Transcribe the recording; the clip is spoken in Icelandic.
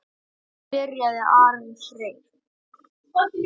Byrjar Ari Freyr?